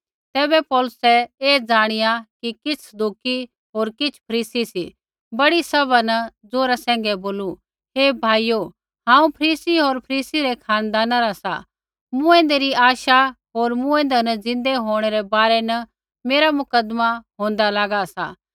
तैबै पौलुसै ऐ ज़ाणिया कि किछ़ सदूकी होर किछ़ फरीसी सी बड़ी सभा न ज़ोरा सैंघै बोलू हे भाइयो हांऊँ फरीसी होर फरीसी रै खानदाना रा सा मूँऐंदै री आशा होर मूँऐंदै न ज़िन्दै होंणै रै बारै न मेरा मुकदमा होंदा लागा सा